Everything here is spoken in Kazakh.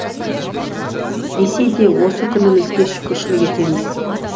десе де осы күнімізге шүкіршілік етеміз